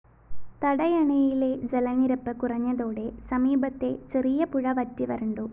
തടയണയിലെ ജലനിരപ്പ് കുറഞ്ഞതോടെ സമീപത്തെ ചെറിയ പുഴ വറ്റിവരണ്ടു